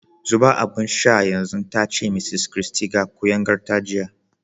Zuba abin sha yanzu! ta ce Mrs Christy ga kuyangarta jiya.